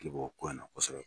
K'i bɔ kɔyi na kosɛbɛ.